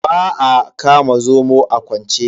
Ba a kama zomo a kwance.